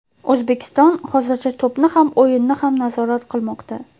O‘zbekiston hozircha to‘pni ham o‘yinni ham nazorat qilmoqda.